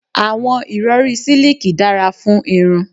Àwọn ìrọri siliki dára fún irun